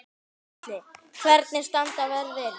Gísli: Hvernig standa verðin?